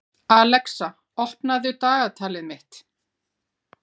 Alexa, opnaðu dagatalið mitt.